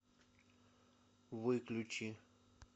выключи